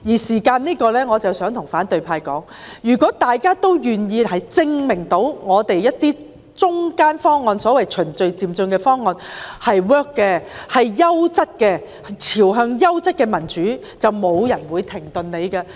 就此，我想對反對派說，如果大家都願意證明一些中間方案，即所謂循序漸進的方案是可行、優質的，可邁向優質的民主，便沒有人會要求停止。